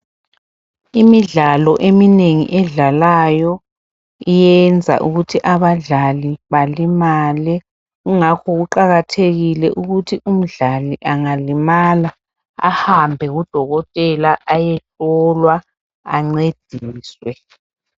Imidlalo eminengi edlalayo iyenza ukuthi abadlali balimale ingakho kuqakathekile ukuthi umdlali angalimala ahambe kudokotela ayehlolwa ancediswe.